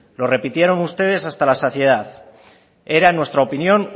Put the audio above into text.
lo repitieron ustedes hasta la saciedad era nuestra opinión